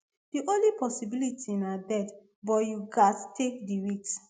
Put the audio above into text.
di only possibility na death but you gatz take di risk